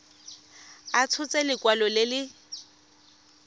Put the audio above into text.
a tshotse lekwalo le le